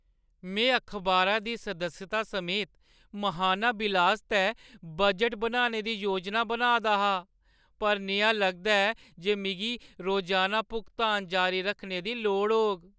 में अखबारा दी सदस्यता समेत महाना बिल आस्तै बजट बनाने दी योजना बनाऽ दा हा, पर नेहा लगदा ऐ जे मिगी रोजाना भुगतान जारी रक्खने दी लोड़ होग।